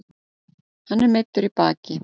Hann er meiddur í baki